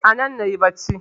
Anan nayi bacci